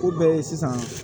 O bɛ ye sisan